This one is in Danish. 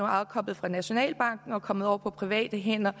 afkoblet fra nationalbanken og er kommet over på private hænder